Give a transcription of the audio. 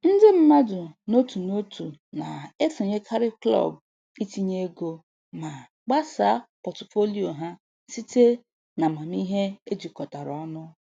Ndị mmadụ n'otu n'otu na-esonyekarị klọb itinye ego ma gbasaa pọtụfoliyo ha site n'amamihe ejikọtara ọnụ.